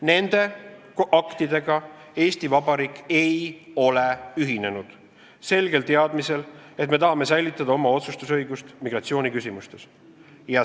Nende aktidega ei ole Eesti Vabariik ühinenud selgel teadmisel, et me tahame säilitada oma otsustusõigust migratsiooniküsimustes.